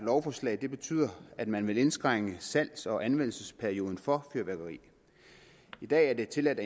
lovforslag betyder at man vil indskrænke salgs og anvendelsesperioden for fyrværkeri i dag er det tilladt